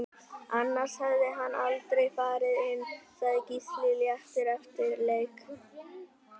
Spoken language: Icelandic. Annars hefði hann aldrei farið inn Sagði Gísli léttur eftir leik